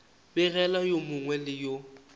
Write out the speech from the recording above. begela yo mongwe le yo